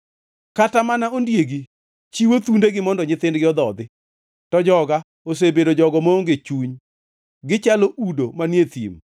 Kata mana ondiegi chiwo thundegi mondo nyithindgi odhodhi, to joga osebedo jogo maonge chuny, gichalo udo manie thim.